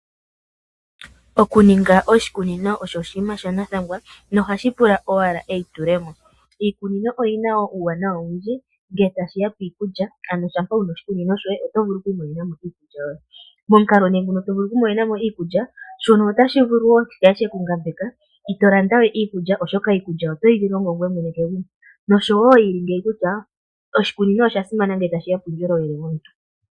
Okuninga oshikunino osho oshinima shanathangwa nohashi pula owala eitulemo . Iikunino oyina wo uuwanawa owundji ngele tashi ya piikulya, ano shampa wuna oshikunino shoye otovulu okwiimonenamo iikulya yoye. Momukalo muno tovulu okwiimonenamo iikulya. Shono otashi vulu okukala shekungambeka , ito landawe iikulya oshoka iikulya otoyi longo ngoye mwene noshowoo shili ngeyi kutya oshikunino oshasimana kuundjolowele womuntu.